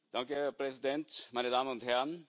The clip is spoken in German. Herr Präsident, meine Damen und Herren!